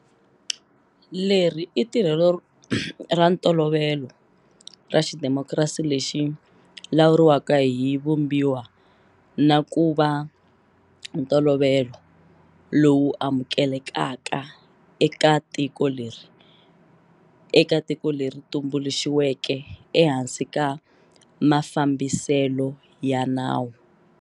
Leri i tirhelo ra ntolovelo ra xidemokirasi lexi lawuriwaka hi Vumbiwa na ku va ntolovelo lowu amukelekaka eka tiko leri tumbuluxiweke ehansi ka ma-fambiselo ya nawu.